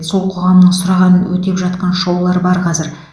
сол қоғамның сұрағанын өтеп жатқан шоулар бар қазір